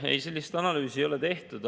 Ei, sellist analüüsi ei ole tehtud.